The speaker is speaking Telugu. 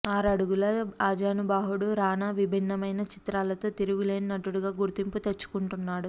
ఆరడుగుల ఆజానబాహుడు రానా విభిన్నమైన చిత్రాలతో తిరుగులేని నటుడిగా గుర్తింపు తెచ్చుకుంటున్నాడు